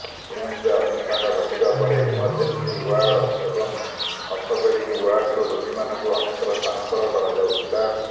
ଏମ୍ସରେ ଅଗ୍ନିକାଣ୍ଡ ଘଟିବା ପରେ ଏମର୍ଜେନ୍ସି ୱାର୍ଡ ଏବଂ ଅର୍ଥୋପେଡିକ ୱାର୍ଡରୁ ରୋଗୀମାନଙ୍କୁ ଅନ୍ୟତ୍ର ସ୍ଥାନାନ୍ତର କରାଯାଉଥିଲା